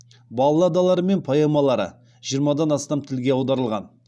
балладалары мен поэмалары жиырмадан астам тілге аударылған